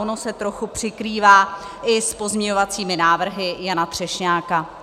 Ono se trochu překrývá i s pozměňovacími návrhy Jana Třešňáka.